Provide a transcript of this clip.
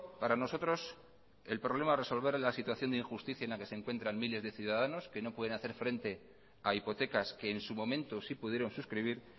para nosotros el problema de resolver la situación de injusticia en la que se encuentran miles de ciudadanos que no pueden hacer frente a hipotecas que en su momento sí pudieron suscribir